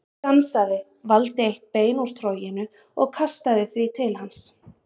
Hún stansaði, valdi eitt bein úr troginu og kastaði því til hans.